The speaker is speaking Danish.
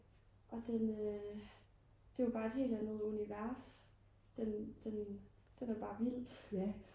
og den øh det var bare et helt andet univers den er bare vild